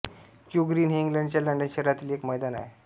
Q Green हे इंग्लंडच्या London शहरातील एक मैदान आहे